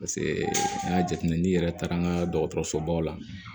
Paseke an y'a jateminɛ n'i yɛrɛ taara an ka dɔgɔtɔrɔsobaw la